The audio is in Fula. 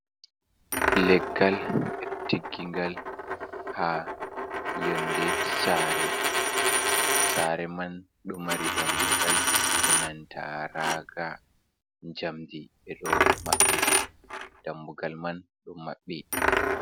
Leggal ɓeɗo tiggingal ha yonde sare, Sare man ɗo mari damugal e nantaraga jamdi ɓeɗo maɓɓiri dambugal man ɗo maɓɓi.